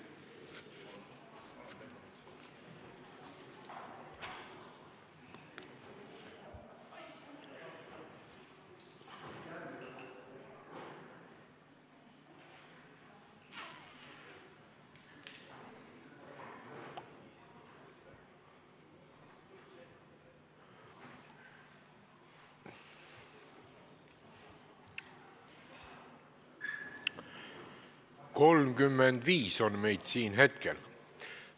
Kohaloleku kontroll 35 on meid siin hetkel.